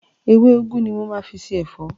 Ewé úgú ni mo máa fi se ẹ̀fọ́.